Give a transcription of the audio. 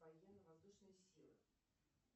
военно воздушные силы